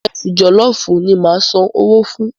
Ìrẹsi jọ̀lọ́fùú ni ma san owó fún.